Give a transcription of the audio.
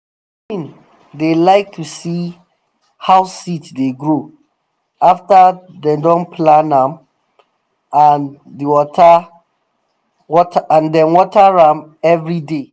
pikin dey like to see how seed dey grow after dem don plant am and dey water am every day